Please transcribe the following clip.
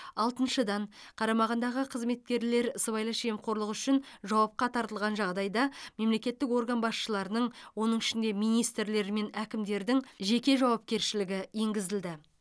алтыншыдан қарамағындағы қызметкерлер сыбайлас жемқорлық үшін жауапқа тартылған жағдайда мемлекеттік орган басшыларының оның ішінде министрлер мен әкімдердің жеке жауапкершілігі енгізілді